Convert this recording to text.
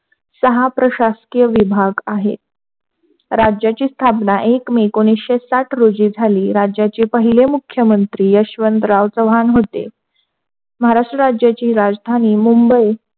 सहा प्रशासकीय विभाग आहेत. राज्याची स्थापना एक मे एकोणीसशे साठ रोजी झाली. राज्याचे पहिले मुख्यमंत्री यशवंतराव चव्हाण होते. महाराष्ट्र राज्याचे राजधानी मुंबई,